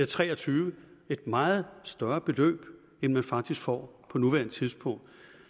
tre og tyve et meget større beløb end man faktisk får på nuværende tidspunkt